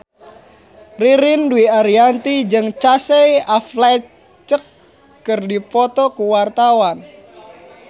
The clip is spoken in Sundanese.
Ririn Dwi Ariyanti jeung Casey Affleck keur dipoto ku wartawan